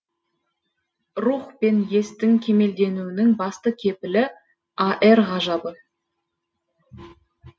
рух пен естің кемелденуінің басты кепілі ар ғажабы